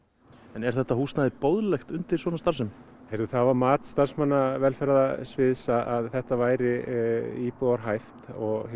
er þetta húsnæði boðlegt undir svona starfsemi það var mat starfsmanna velferðarsviðs að þetta væri íbúðarhæft